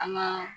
An ŋaa